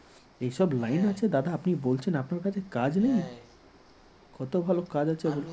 এসব line আছে দাদা? আপনি বলছেন আপনার কাছে কাজ নেই কত ভালো কাজ আছে